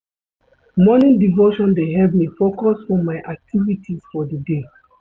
Morning devotion dey help me focus for my activities for di day.